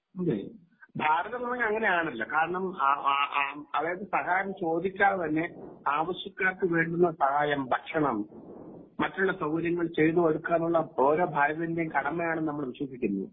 അതെ ഭാരതം എന്ന് പറഞ്ഞാൽ അങ്ങനെയാണല്ലോ കാരണം അതായത് സഹായം ചോദിക്കാതെ തന്നെ ആവശ്യക്കാർക്ക് വേണ്ടുന്ന സഹായം, ഭക്ഷണം ,മറ്റുള്ള സൗകര്യങ്ങൾ ചെയ്തു കൊടുക്കുക എന്നുള്ളത് ഓരോ ഭാരതീയന്റെയും കടമയാണെന്ന് നമ്മൾ വിശ്വസിക്കുന്നു.